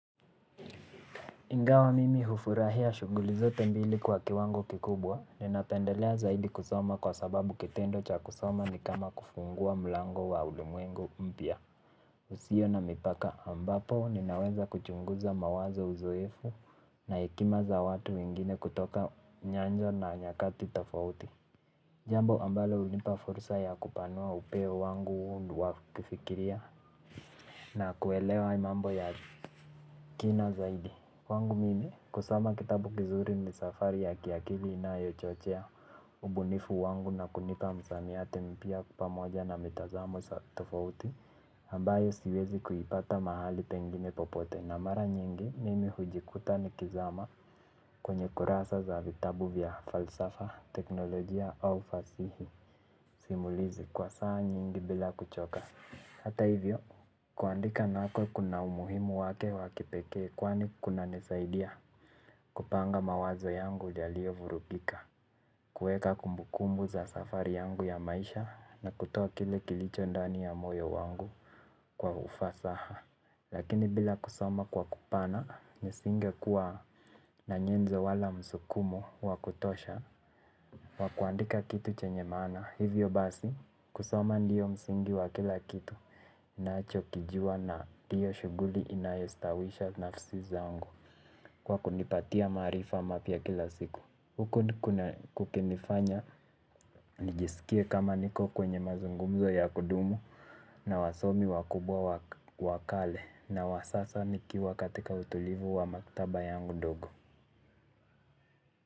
Ingawa mimi hufurahia shunguli zote mbili kwa kiwango kikubwa ninapendelea zaidi kusoma kwa sababu kitendo cha kusoma ni kama kufungua mlango wa ulimwengu mpya husio na mipaka ambapo ninaweza kuchunguza mawazo uzoefu na hekima za watu wengine kutoka nyanja na nyakati tafauti. Jambo ambalo hunipa fursa ya kupanua upeo wangu wakifikiria na kuelewa mambo ya kina zaidi kwangu mimi kusoma kitabu kizuri ni safari ya kiakili na yo chochea ubunifu wangu na kunipa msamiati mpya pamoja na mitazamo za tofauti ambayo siwezi kuipata mahali pengine popote. Na mara nyingi mimi hujikuta ni kizama kwenye kurasa za vitabu vya falsafa, teknolojia au fasihi. Simulizi kwa saa nyingi bila kuchoka. Hata hivyo kuandika nako kuna umuhimu wake wakipekee kwani kuna nisaidia kupanga mawazo yangu yalio vurugika. Kuweka kumbukumbu za safari yangu ya maisha na kutoa kile kilicho ndani ya moyo wangu kwa ufasaha. Lakini bila kusoma kwa kupana nisinge kuwa na nyenzo wala msukumo wa kutosha. Wakuandika kitu chenye maana hivyo basi kusoma ndiyo msingi wa kila kitu. Nacho kijua na hiyo shughuli inayestawisha nafsi zangu kwa kunipatia maarifa mapya kila siku hukuna kukinifanya nijisikie kama niko kwenye mazungumzo ya kudumu. Na wasomi wakubwa wakale na wasasa nikiwa katika utulivu wa maktaba yangu ndogo.